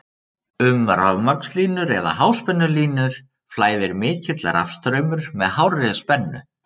Um rafmagnslínur eða háspennulínur flæðir mikill rafstraumur með hárri spennu.